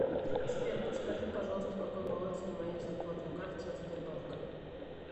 сбер подскажи пожалуйста какой баланс на моей зарплатной карте от сбербанка